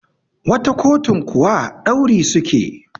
wata kotun kuwa dauri suke